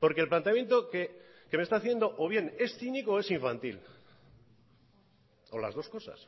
porque el planteamiento que me está haciendo o bien es cínico o es infantil o las dos cosas